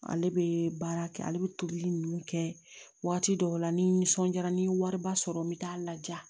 Ale bɛ baara kɛ ale bɛ tobili ninnu kɛ waati dɔw la ni nisɔndiyara ni wariba sɔrɔ n bɛ taa n laja